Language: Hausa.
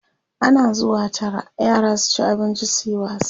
ana zuwa Tara yara su ci abinci suyi wasa